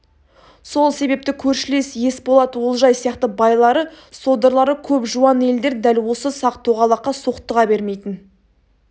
сол себепті көршілес есболат олжай сияқты байлары содырлары көп жуан елдер дәл осы сақ-тоғалаққа соқтыға бермейтін